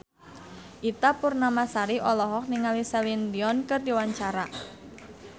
Ita Purnamasari olohok ningali Celine Dion keur diwawancara